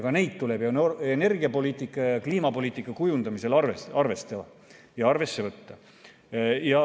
Ka neid tuleb energiapoliitika ja kliimapoliitika kujundamisel arvestada ja arvesse võtta.